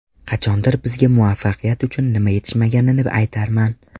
Qachondir bizga muvaffaqiyat uchun nima yetishmaganini aytarman.